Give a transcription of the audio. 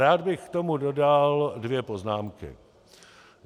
Rád bych k tomu dodal dvě poznámky.